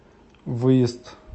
выезд